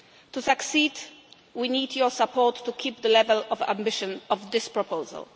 To succeed, we need your support to keep the level of ambition of this proposal.